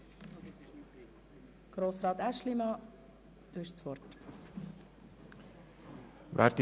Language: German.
Es ist auszuweisen, dass ein Vertrag mit einer bestehenden Tankstelle in der nahen Umgebung nicht wirtschaftlicher wäre.